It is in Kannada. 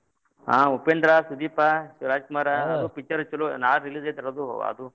ಹಾ ಉಪೇಂದ್ರ, ಸುದೀಪ, ಶಿವರಾಜ ಕುಮಾರ picture ನಾಳಿದ್ release ಐತ್ರಿ ಅದು ಅದು.